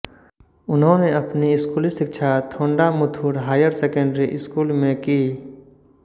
उन्होंने अपनी स्कूली शिक्षा थोंडामुथुर हायर सेकेंडरी स्कूल में की